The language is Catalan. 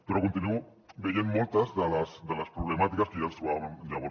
però continuo veient moltes de les problemàtiques que ja ens trobàvem llavors